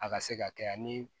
A ka se ka kɛ ani